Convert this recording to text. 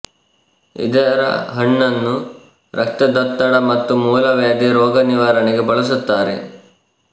ಇದರ ಹಣ್ಣುನ್ನು ರಕ್ತದೊತ್ತಡ ಮತ್ತು ಮೂಲವ್ಯಾಧಿ ರೋಗ ನಿವಾರಣೆಗೆ ಬಳಸುತ್ತಾರೆ